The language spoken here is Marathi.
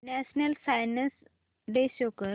नॅशनल सायन्स डे शो कर